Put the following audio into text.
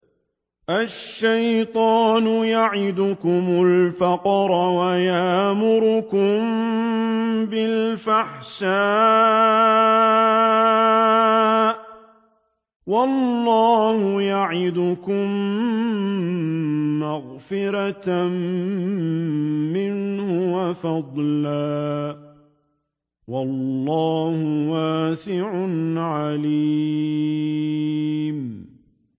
الشَّيْطَانُ يَعِدُكُمُ الْفَقْرَ وَيَأْمُرُكُم بِالْفَحْشَاءِ ۖ وَاللَّهُ يَعِدُكُم مَّغْفِرَةً مِّنْهُ وَفَضْلًا ۗ وَاللَّهُ وَاسِعٌ عَلِيمٌ